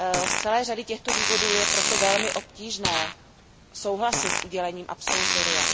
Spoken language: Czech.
Z celé řady těchto důvodů je proto velmi obtížné souhlasit s udělením absolutoria.